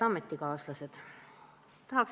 Head ametikaaslased!